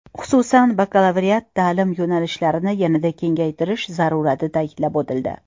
Xususan, bakalavriat ta’lim yo‘nalishlarini yanada kengaytirish zarurati ta’kidlab o‘tildi.